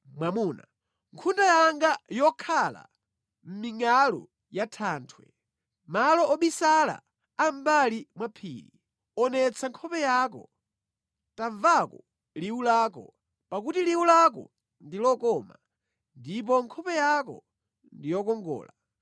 Nkhunda yanga yokhala mʼmingʼalu ya thanthwe, mʼmalo obisala a mʼmbali mwa phiri, onetsa nkhope yako, nʼtamvako liwu lako; pakuti liwu lako ndi lokoma, ndipo nkhope yako ndi yokongola.